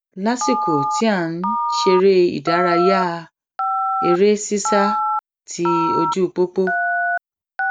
lásìkò tí à n ṣeré ìdárayá eré sísá ti ojú pópó